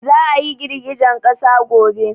Za a yi girgijen ƙasa gobe